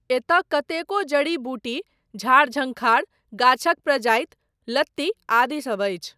एतय कतेको जड़ी बूटी, झाड़ झंखाड़, गाछक प्रजाति, लत्ती आदि सब अछि।